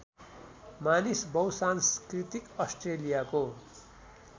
मानिस बहुसांस्कृतिक अस्ट्रेलियाको